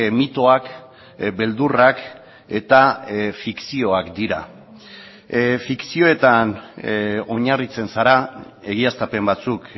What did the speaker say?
mitoak beldurrak eta fikzioak dira fikzioetan oinarritzen zara egiaztapen batzuk